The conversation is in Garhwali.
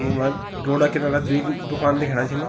ईमा रोडा किनारा द्वि दुकान दिखेंणा छिन।